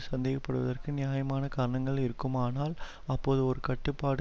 சந்தேகப்படுவதற்கு நியாயமான காரணங்கள் இருக்குமானால் அப்போது ஒரு கட்டுப்பாட்டு